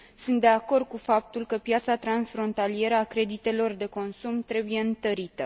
Sunt de acord cu faptul că piața transfrontalieră a creditelor de consum trebuie întărită.